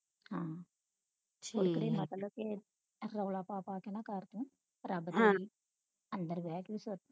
ਹੈ ਮਤਲਬ ਕੇ ਰੋਲਾ ਪਾ ਪਾ ਕੇ ਨਾ ਕਰ ਤੂੰ ਅੰਦਰ ਬਹਿ ਕੇ